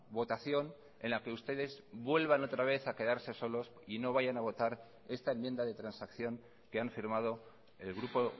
votación en la que ustedes vuelvan otra vez a quedarse solos y no vayan a votar esta enmienda de transacción que han firmado el grupo